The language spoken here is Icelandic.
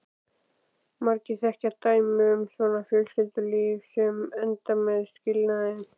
Margir þekkja dæmi um svona fjölskyldulíf sem enda með skilnaði.